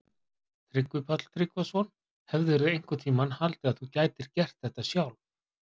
Tryggvi Páll Tryggvason: Hefðirðu einhvern tímann haldið að þú gætir gert þetta sjálf?